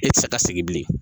E tɛ se ka segin bilen